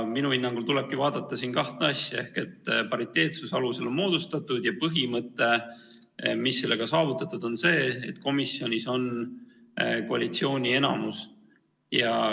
Minu hinnangul tulebki vaadata kahte asja: pariteetsuse alusel on komisjon moodustatud ja põhimõte, mis on sellega saavutatud, on see, et komisjonis on koalitsiooni enamus.